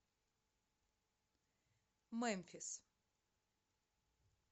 мемфис